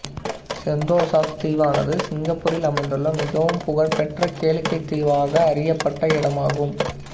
செந்தோசாத் தீவானது சிங்கப்பூரில் அமைந்துள்ள மிகவும் புகழ் பெற்ற கேளிக்கைத் தீவாக அறியப்பட்ட இடமாகும்